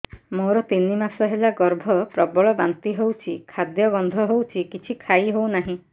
ମୋର ତିନି ମାସ ହେଲା ଗର୍ଭ ପ୍ରବଳ ବାନ୍ତି ହଉଚି ଖାଦ୍ୟ ଗନ୍ଧ ହଉଚି କିଛି ଖାଇ ହଉନାହିଁ